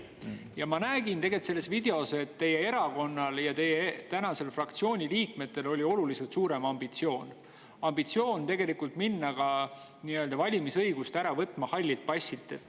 Ja ma nägin selles videos, et teie erakonnal ja teie tänastel fraktsiooni liikmetel oli oluliselt suurem ambitsioon, ambitsioon minna valimisõigust ära võtma ka halli passi.